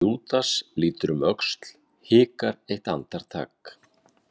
Júdas lítur um öxl, hikar eitt andartak.